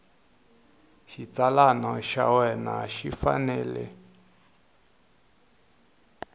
xitsalwana xa wena xi fanele